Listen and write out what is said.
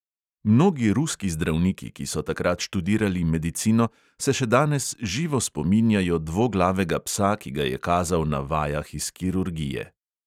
Mnogi ruski zdravniki, ki so takrat študirali medicino, se še danes živo spominjajo dvoglavega psa, ki ga je kazal na vajah iz kirurgije.